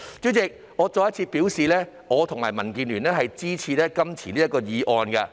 主席，我再次表示，我和民建聯支持這項議案。